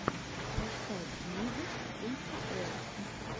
поставь мигос эй ти эл